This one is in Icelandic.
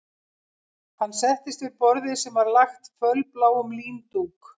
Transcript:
Hann settist við borðið sem var lagt fölbláum líndúk